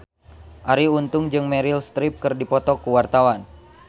Arie Untung jeung Meryl Streep keur dipoto ku wartawan